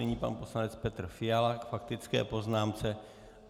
Nyní pan poslanec Petr Fiala k faktické poznámce.